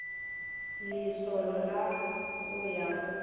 lesolo la go ya go